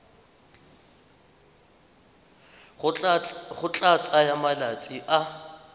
go tla tsaya malatsi a